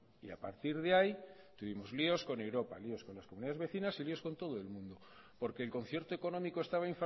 y a partir de ahí tuvimos líos con europa y líos con las comunidades vecinas y líos con todo el mundo porque el concierto económico estaba